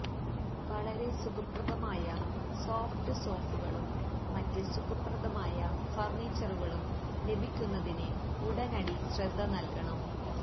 വളരെ സുഖപ്രദമായ സോഫ്റ്റ് സോഫുകളും മറ്റ് സുഖപ്രദമായ ഫർണിച്ചറുകളും ലഭിക്കുന്നതിന് ഉടനടി ശ്രദ്ധ നൽകണം